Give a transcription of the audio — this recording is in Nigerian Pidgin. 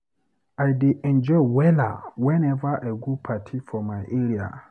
I dey enjoy wella weneva I go party for my area.